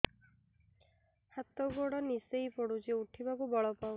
ହାତ ଗୋଡ ନିସେଇ ପଡୁଛି ଉଠିବାକୁ ବଳ ପାଉନି